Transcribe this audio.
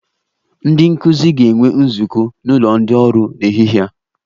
Ndị nkụzi ga-enwe nzukọ n'ụlọ ndị ọrụ n'ehihie a